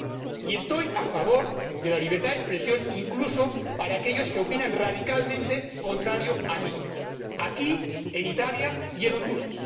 Y estoy a favor de la libertad de expresión, incluso para aquellos que opinan radicalmente lo contrario que yo, aquí, en Italia y en Honduras.